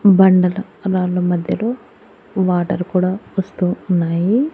బండల రాళ్ల మధ్యలో వాటర్ కూడా వస్తూ ఉన్నాయి.